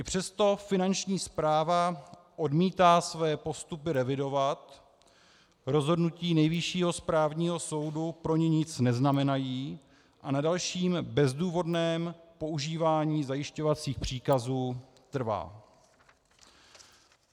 I přesto Finanční správa odmítá své postupy revidovat, rozhodnutí Nejvyššího správního soudu pro ni nic neznamenají a na dalším bezdůvodném používání zajišťovacích příkazů trvá.